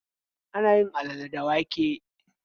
Ana yin alale da wake.